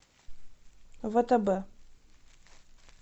втб